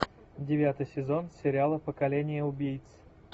девятый сезон сериала поколение убийц